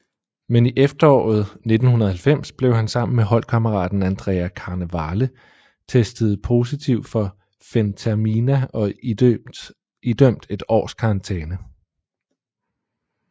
Men i efteråret 1990 blev han sammen med holdkammeraten Andrea Carnevale testet positiv for fentermina og idømt et års karantæne